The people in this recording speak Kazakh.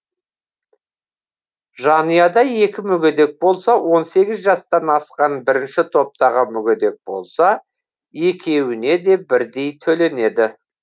жанұяда екі мүгедек болса он сегіз жастан асқан бірінші топтағы мүгедек болса екеуіне де бірдей төленеді